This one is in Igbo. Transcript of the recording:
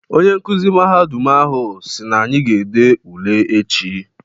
Onye nkuzi mahadum ahụ si n'anyị ga-ede ule echi.